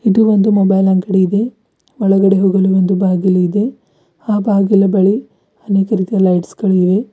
ಇದು ಒಂದು ಮೊಬೈಲ್ ಅಂಗಡಿ ಇದೆ ಒಳಗಡೆ ಹೋಗಲು ಒಂದು ಬಾಗಿಲು ಇದೆ ಆ ಬಾಗಿಲು ಬಳಿ ಅನೇಕ ರೀತಿಯ ಲೈಟ್ಸ್ ಗಳಿವೆ.